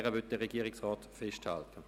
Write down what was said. Der Regierungsrat möchte an ihr festhalten.